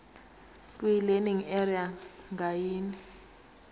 kwilearning area ngayinye